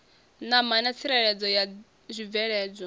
ṋama na tsireledzo ya zwibveledzwa